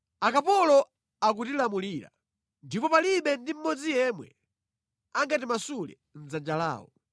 Akapolo akutilamulira, ndipo palibe ndi mmodzi yemwe angatimasule mʼdzanja lawo.